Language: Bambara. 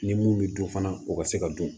Ni mun bɛ dun fana o ka se ka dun